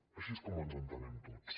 així és com ens entenem tots